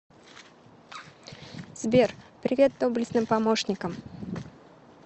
сбер привет доблестным помощникам